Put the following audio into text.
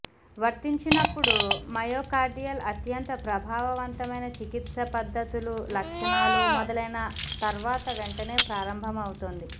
వర్తించినప్పుడు myocardial అత్యంత ప్రభావవంతమైన చికిత్స పద్ధతులు లక్షణాలు మొదలైన తర్వాత వెంటనే ప్రారంభమవుతుంది